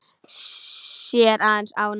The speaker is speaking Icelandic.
Sér aðeins ána.